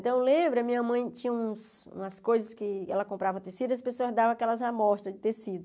Então, eu lembro, a minha mãe tinha umas coisas que ela comprava tecido e as pessoas davam aquelas amostras de tecido.